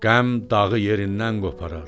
Qəm dağı yerindən qoparar.